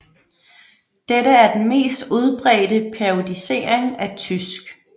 Dette er den mest udbredte periodisering af tysk